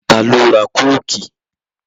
Ta ló ra Kóòkì?